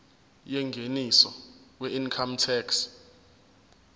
yengeniso weincome tax